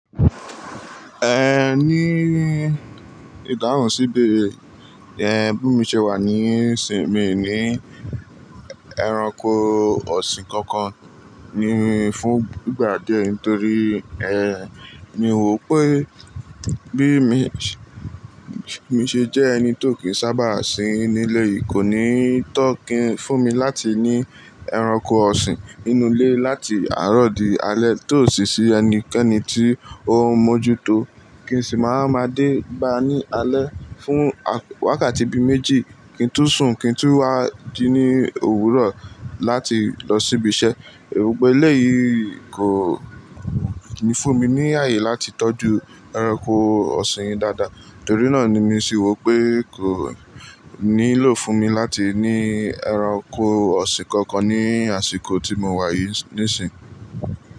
Eh, ní ìdáhùn sí'bẹ̀ere yẹn, bí mo ṣe wà níìsín mi ní ẹranko ọ̀sìn kankan ni fún ìgbà díẹ̀ nítorí ẹ ni n ò pé bí mo ṣe jẹ́ ẹni tó kí sábà sí nílé yìí kò ní tọ́ kí n fún mi láti ní ẹranko ọ̀sìn nínú ilé láti àárọ̀ di alẹ́ tó sì sí ẹnikẹ́ni tí ó ń mójú tó. Kí n sì máa ma dé bá ní alẹ́ fún wákàtí bí méjì kí n tun sùn kí n tun wá jí ní òwúrọ̀ láti lọ síbi iṣẹ́. Ero pé éleyìí kò ní fún mi ní ààyè láti tọ́jú ẹranko ọ̀sìn dáadáa. Torí náà ni mí se wò pé kò nílò fún mi láti ní ẹranko ọ̀sìn kankan ní àsìkò tí mo wà yìí níìsín.